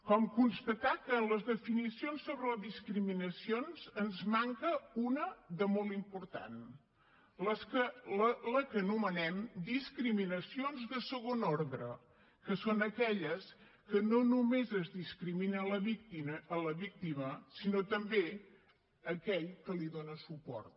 com constatar que en les definicions sobre les discriminacions ens en manca una de molt important les que anomenem discriminacions de segon ordre que són aquelles que no només es discrimina la víctima sinó també aquell que li dona suport